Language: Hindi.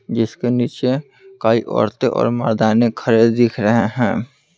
जिसके नीचे कई औरतें और मर्दाने खड़े दिख रहे हैं।